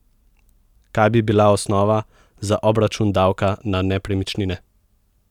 Kaj bi bila osnova za obračun davka na nepremičnine?